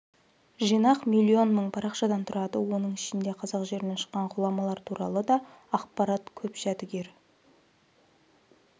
жинақ миллион мың парақшадан тұрады оның ішінде қазақ жерінен шыққан ғұламалар туралы да ақпарат көп жәдігер